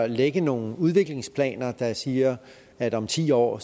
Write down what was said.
lægge nogle udviklingsplaner der siger at om ti år